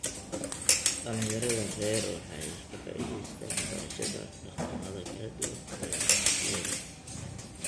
Dhallinyarada rer waxay ka faa'iideystaan ??barashada dhaqamada kala duwan ee dugsiyada.